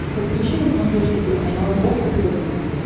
подключи на смотрешке телеканал бокс тв плюс